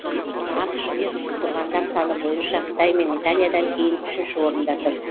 ақш вирус жұқтырғандар саны бойынша қытай мен италиядан кейін үшінші орында тұр